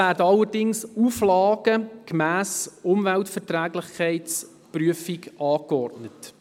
Allerdings werden Auflagen gemäss Umweltverträglichkeitsprüfung angeordnet.